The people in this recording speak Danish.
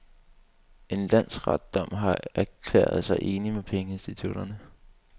En landsretsdom har erklæret sig enig med pengeinstitutterne.